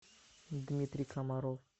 дмитрий комаров